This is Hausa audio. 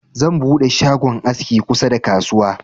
Zan buɗe shagon aski kusa da kasuwa.